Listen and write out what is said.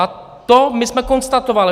A to my jsme konstatovali.